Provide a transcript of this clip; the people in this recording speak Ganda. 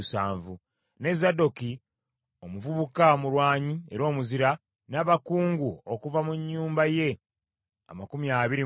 ne Zadooki omuvubuka omulwanyi era omuzira, n’abakungu okuva mu nnyumba ye amakumi abiri mu babiri.